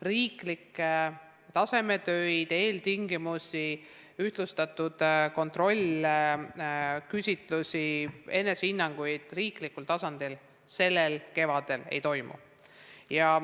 Riiklikke tasemetöid, ühtlustatud kontrollküsitlusi, enesehinnanguid riiklikul tasandil sellel kevadel ei toimu.